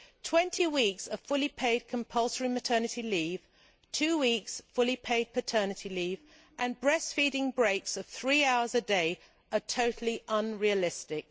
Twenty weeks of fully paid compulsory maternity leave, two weeks' fully paid paternity leave and breast feeding breaks of three hours a day are totally unrealistic.